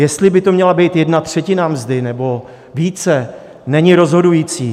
Jestli by to měla být jedna třetina mzdy nebo více, není rozhodující.